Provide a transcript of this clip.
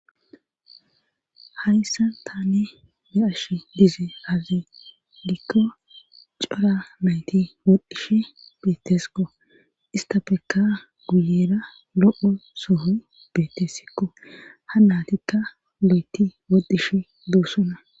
hhayssn tane be7ash dize hazi dikko cora mayti wodhdhish bettesikko ista peka guyera lo7o sohoy beettessikko ha natikka lo7eti woddish doossona